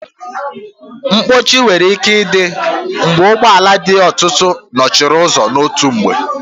Mkpọchi nwere ike ịdị mgbe ụgbọ ala dị ọtụtụ n'okporo ụzọ n'otu mgbe